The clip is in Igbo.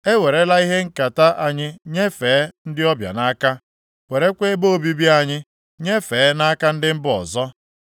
E werela ihe nketa anyị nyefee ndị ọbịa nʼaka, werekwa ebe obibi anyị nyefee nʼaka ndị mba ọzọ.